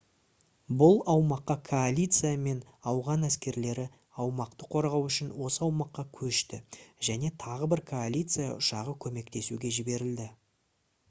бұл аумаққа коалиция мен ауған әскерлері аумақты қорғау үшін осы аумаққа көшті және тағы бір коалиция ұшағы көмектесуге жіберілді